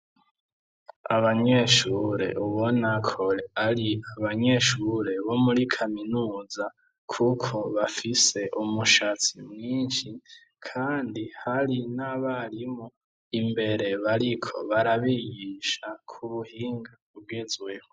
Abanyeshure ubona ko ari abanyeshure bo muri kaminuza, kuko bafise umushatsi mwinshi kandi hari n'abarimu imbere bariko barabigisha kubuhinga bugezweho.